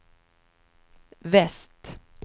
väst